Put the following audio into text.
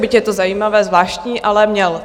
Byť je to zajímavé, zvláštní, ale měl.